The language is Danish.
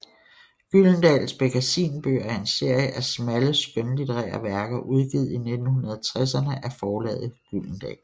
Gyldendals Bekkasinbøger er en serie af smalle skønlitterære værker udgivet i 1960erne af forlaget Gyldendal